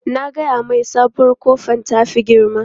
Na gaya mai sabuwar kofar ta fi girma.